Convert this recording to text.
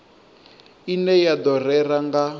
ine ya do rera nga